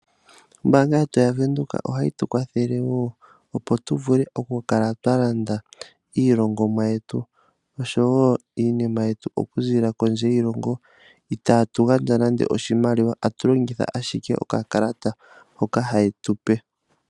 Ombaanga yetu yaVenduka ohayi tu kwathele wo opo tu vule okukala twa landa iilongomwa yetu osho wo iinima yetu okuziilila kondje yoshilongo, itaatu gandja nande oshimaliwa atu longitha okakalata hoka haye tu pe.